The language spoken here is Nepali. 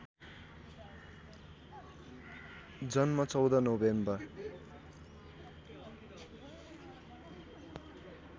जन्म १४ नोभेम्बर